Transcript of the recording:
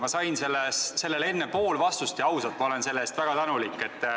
Ma sain sellele enne pool vastust ja ausalt, ma olen selle eest väga tänulik.